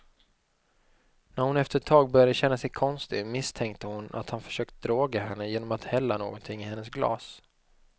När hon efter ett tag började känna sig konstig, misstänkte hon att han försökt droga henne genom att hälla något i hennes glas.